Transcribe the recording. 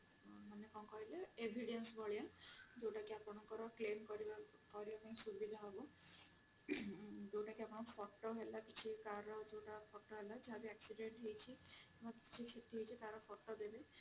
ମାନେ କଣ କହିଲେ evidence ଭଳିଆ ଯୋଉଟା କି ଆପଣଙ୍କର claim କରିବା ପାଇଁ ସୁବିଧା ହବ ଯୋଉଟା ଆପଣ photo ହେଲା କି car ଯୋଉଟା photo ଯାହା କି accident ହେଇଛି ଯାହାବି କ୍ଷତି ହେଇଛି ତାର photo ଦେବେ